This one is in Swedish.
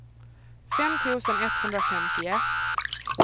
fem tusen etthundrafemtioett